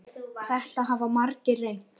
Þetta hafa margir reynt.